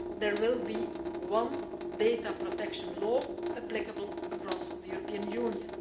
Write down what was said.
There will be one data protection law applicable across the European Union.